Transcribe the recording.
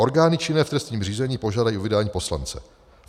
Orgány činné v trestním řízení požádají o vydání poslance.